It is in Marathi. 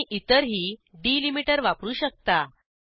तुम्ही इतरही डिलिमीटर वापरू शकता